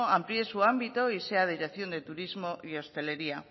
amplíe su ámbito y sea dirección de turismo y hostelería